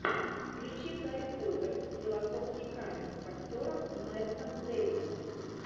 включи гарри поттер и философский камень с актером мэттом дэймоном